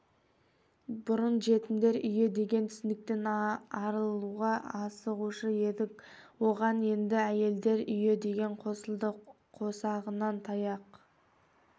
бұрын жетімдер үйі деген түсініктен арылуға асығушы едік оған енді әйелдер үйі деген қосылды қосағынан таяқ